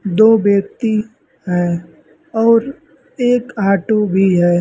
दो व्यक्ति हैं और एक ऑटो भी है।